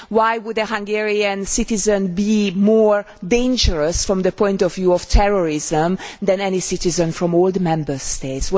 Why would a Hungarian citizen be more dangerous from the point of view of terrorism than any citizen from the older' Member States?